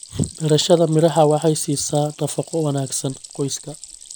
Beerashada miraha waxay siisaa nafaqo wanaagsan qoyska.